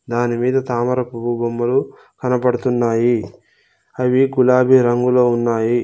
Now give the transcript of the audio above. దాని మీద తామరపువ్వు బొమ్మలు కనపడుతున్నాయి అవి గులాబీ రంగులో ఉన్నాయి.